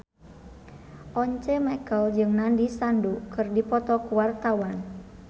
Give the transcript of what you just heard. Once Mekel jeung Nandish Sandhu keur dipoto ku wartawan